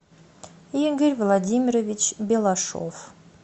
игорь владимирович белашов